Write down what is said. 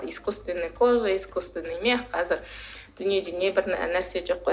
искусственная кожа искусственный мех қазір дүниеде не бір нә нәрсе жоқ қой